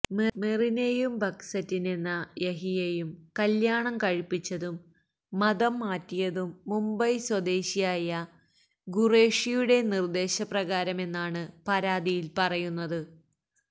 മെറിനെയും ബക്സറ്റിനെന്ന യഹിയെയും കല്യാണം കഴിപ്പിച്ചതും മതം മാറ്റിയതും മുംബൈ സ്വദേശിയായ ഖുറേഷിയുടെ നിര്ദ്ദേശ പ്രകാരമാമെന്നാണ് പരാതിയില് പറയുന്നത്